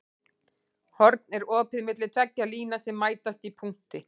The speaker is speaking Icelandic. Horn er opið milli tveggja lína sem mætast í punkti.